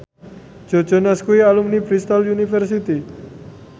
Joe Jonas kuwi alumni Bristol university